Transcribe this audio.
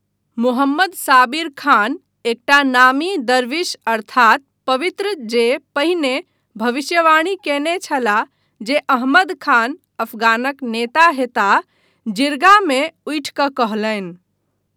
मोहम्मद साबिर खान, एकटा नामी दरवीश अर्थात पवित्र जे पहिने भविष्यवाणी कयने छलाह जे अहमद खान अफगानक नेता हेताह, जिर्गामे उठि कऽ कहलनि